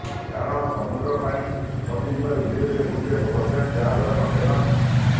କାରଣ ସମୁଦ୍ର ପାଣି ପଶିଯିବାରୁ ଧିରେ ଧିରେ ବୁଡିବାକୁ ବସିଲାଣି ଜାହାଜର କଂଟେନର